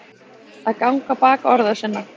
Að ganga á bak orða sinna